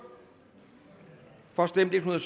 for stemte en